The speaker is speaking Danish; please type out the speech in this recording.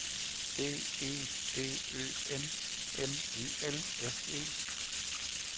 B E D Ø M M E L S E